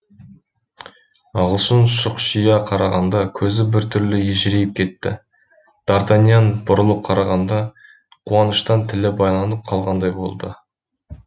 ағылшын шұқшия қарағанда көзі бір түрлі ежірейіп кетті дартаньян бұрылып қарағанда қуаныштан тілі байланып қалғандай болды